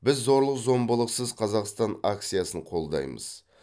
біз зорлық зомбылықсыз қазақстан акциясын қолдаймыз